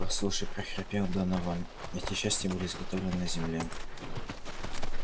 послушай прохрипел донован эти части были изготовлены на земле